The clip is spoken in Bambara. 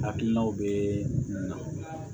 Hakilinaw bɛ na